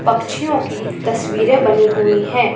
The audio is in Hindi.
पक्षि की तस्वीरे बनी हुई है।